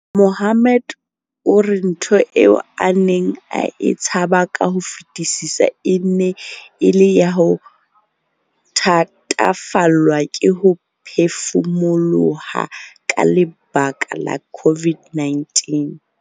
Mohammed o re ntho eo a neng a e tshaba ka ho fetisisa e ne e le ya ho thatafallwa ke ho phefumoloha ka lebaka la COVID-19.